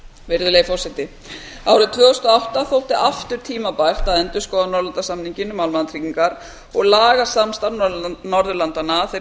virðulegi forseti árið tvö þúsund og átta þótti aftur tímabært að endurskoða norðurlandasamninginn um almannatryggingar og laga samstarf norðurlandanna að þeirri